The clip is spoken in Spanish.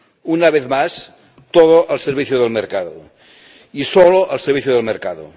Una vez más, todo al servicio del mercado y solo al servicio del mercado.